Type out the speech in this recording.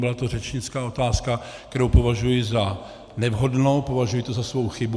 Byla to řečnická otázka, kterou považuji za nevhodnou, považuji to za svou chybu.